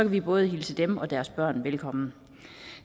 vi både hilse dem og deres børn velkommen